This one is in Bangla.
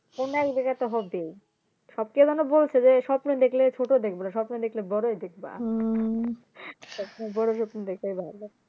কোনো একদিকে তো হবেই সব কে যেন বলছে যে স্বপ্ন দেখলে ছোট দেখবা না স্বপ্ন দেখলে বড়োই দেখবা বড়ো স্বপ্ন দেখবে এবার